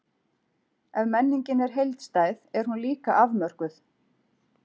Ef menningin er heildstæð, er hún líka afmörkuð.